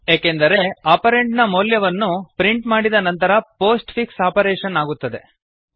ಏಕೆಂದರೆ ಆಪರಂಡ್ ನ ಮೌಲ್ಯವನ್ನು ಪ್ರಿಂಟ್ ಮಾಡಿದ ನಂತರ ಪೋಸ್ಟ್ ಫಿಕ್ಸ್ ಆಪರೇಶನ್ ಆಗುತ್ತದೆ